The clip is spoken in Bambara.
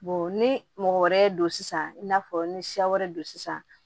ni mɔgɔ wɛrɛ don sisan i n'a fɔ ni siya wɛrɛ don sisan